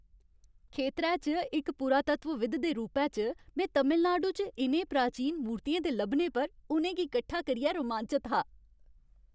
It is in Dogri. खेतरै च इक पुरातत्वविद दे रूपै च, में तमिलनाडु च इ'नें प्राचीन मूर्तियें दे लब्भने पर उ'नें गी कट्ठा करियै रोमांचत हा।